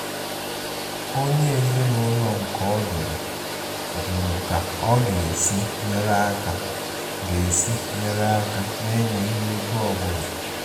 Onyé ezinúlọ̀ nke ọdụ́dụ̀ jụrụ̀ ká ọ̀ ga-èsí nyeré aka ga-èsí nyeré aka nà-ènwèghi égò ọ́búlà.